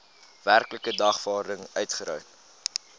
werklike dagvaarding uitgereik